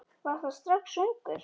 Var það strax ungur.